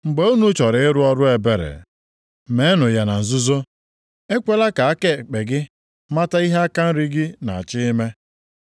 Mgbe unu chọrọ ịrụ ọrụ ebere, meenụ ya na nzuzo. Ekwela ka aka ekpe gị mata ihe aka nri gị na-achọ ime.